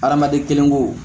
Adamaden kelenko